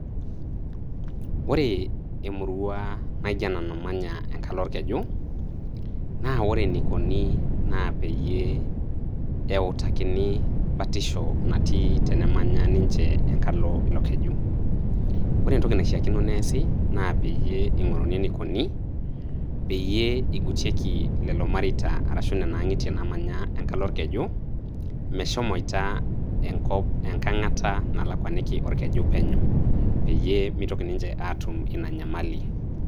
Ore emurua naijo ena namanya enkalo orkeju, na ore enikoni na peyie eutakino batisho natii tenemanya ninche enkalo ilo keju. Ore entoki naishaakino neasi, na peyie ing'oruni enikoni, peyie igutieki lelo mareita arashu nena ang'itie namanya enkalo olkeju, meshomoita enkop enkang'ata nalakwaniki olkeju penyo. Peyie mitoki ninche atum ina nyamali.